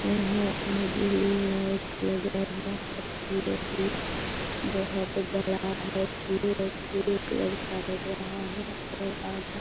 है आगे में लाइटस लगा हुआ है बहुत बड़ा है भूरे कलर का लग रहा है और आधा --